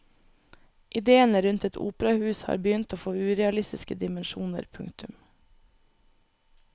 Idéene rundt et operahus har begynt å få urealistiske dimensjoner. punktum